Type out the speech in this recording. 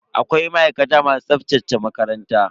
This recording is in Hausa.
Akwai ma'aikata masu tsaftace makaranta.